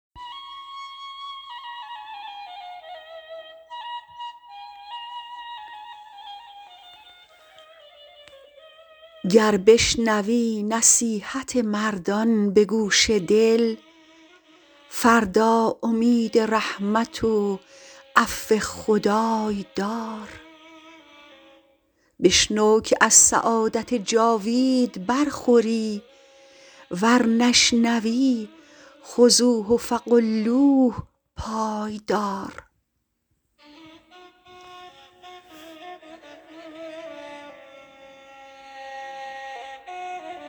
گر بشنوی نصیحت مردان به گوش دل فردا امید رحمت و عفو خدای دار بشنو که از سعادت جاوید برخوری ور نشنوی خذوه فغلوه پای دار